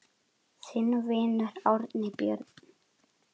Þinn vinur, Árni Björn.